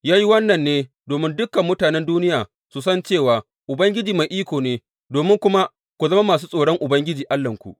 Ya yi wannan ne domin dukan mutanen duniya su san cewa Ubangiji mai iko ne, domin kuma ku zama masu tsoron Ubangiji Allahnku.